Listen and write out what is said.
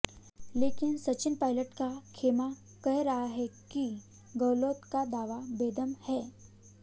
लेकिन सचिन पायलट का खेमा कह रहा है कि गहलोत का दावा बेदम है